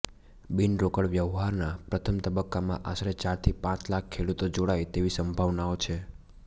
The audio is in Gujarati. બિનરોકડ વ્યવહારના પ્રથમ તબક્કામાં આશરે ચાર થી પાંચ લાખ ખેડૂતો જોડાય તેવી સંભાવનાઓ છે